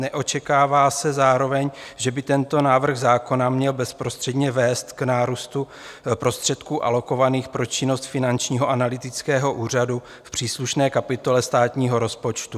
Neočekává se zároveň, že by tento návrh zákona měl bezprostředně vést k nárůstu prostředků alokovaných pro činnost Finančního analytického úřadu v příslušné kapitole státního rozpočtu.